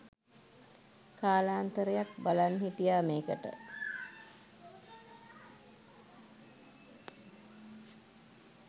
කාලාන්තරයක් බලන් හිටියා මේකට